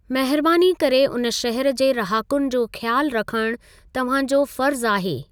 महिरबानी करे उन शहर जे रहाकुन जो ख़्यालु रखणु तव्हां जो फ़र्ज़ आहे।